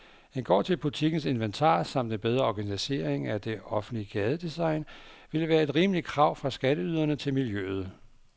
En gård til butikkens inventar samt en bedre organisering af det offentlige gadedesign ville være et rimeligt krav fra skatteyderne til miljøet.